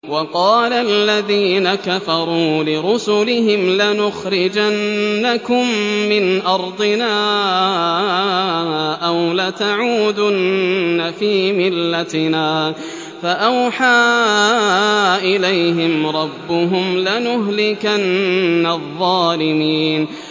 وَقَالَ الَّذِينَ كَفَرُوا لِرُسُلِهِمْ لَنُخْرِجَنَّكُم مِّنْ أَرْضِنَا أَوْ لَتَعُودُنَّ فِي مِلَّتِنَا ۖ فَأَوْحَىٰ إِلَيْهِمْ رَبُّهُمْ لَنُهْلِكَنَّ الظَّالِمِينَ